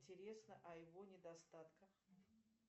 интересно о его недостатках